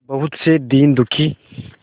बहुत से दीन दुखी